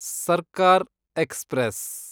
ಸರ್ಕಾರ್ ಎಕ್ಸ್‌ಪ್ರೆಸ್